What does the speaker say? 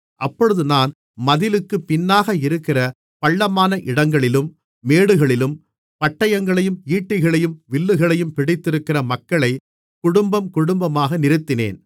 அப்பொழுது நான் மதிலுக்குப் பின்னாக இருக்கிற பள்ளமான இடங்களிலும் மேடுகளிலும் பட்டயங்களையும் ஈட்டிகளையும் வில்லுகளையும் பிடித்திருக்கிற மக்களைக் குடும்பம் குடும்பமாக நிறுத்தினேன்